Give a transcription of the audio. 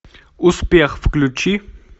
успех включи